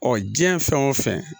Ɔ diɲɛ fɛn o fɛn